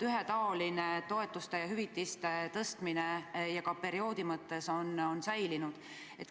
Ühetaoline toetuste-hüvitiste tõstmine on säilinud ja ka perioodi mõttes on kõik sama.